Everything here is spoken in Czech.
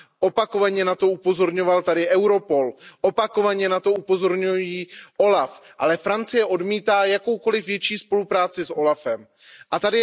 Opakovaně na to upozorňoval tady Europol, opakovaně na to upozorňuje OLAF, ale Francie odmítá jakoukoliv větší spolupráci s úřadem OLAF.